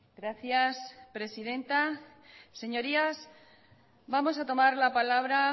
gracias presidenta señorías vamos a tomar la palabra